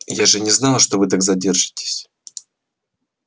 я же не знала что вы так задержитесь